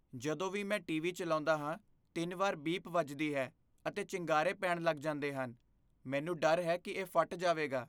ਜਦੋਂ ਵੀ ਮੈਂ ਟੀਵੀ ਚਲਾਉਂਦਾ ਹਾਂ, ਤਿੰਨ ਵਾਰ ਬੀਪ ਵਜਦੀ ਹੈ ਅਤੇ ਚਿੰਗਾਰੇ ਪੈਣ ਲੱਗ ਜਾਂਦੇ ਹਨ । ਮੈਨੂੰ ਡਰ ਹੈ ਕਿ ਇਹ ਫਟ ਜਾਵੇਗਾ।